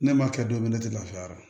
Ne m'a kɛ don min na ne tɛ lafiya ra